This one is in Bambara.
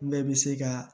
Bɛɛ bɛ se ka